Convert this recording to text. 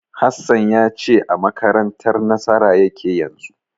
Hassan ya ce a makarantar Nasara yake yanzu.